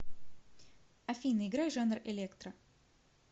афина играй жанр электро